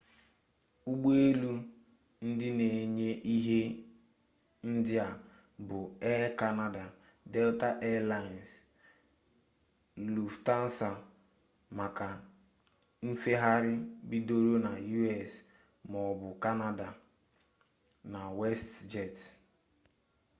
ụgbọelu ndị na enye ihe ndị a bụ air kanada delta air laịns luftansa maka nfegharị bidoro na u.s. maọbụ kanada na westjet